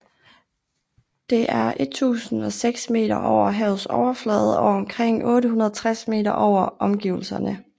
Det er 1006 meter over havets overflade og omkring 860 meter over omgivelserne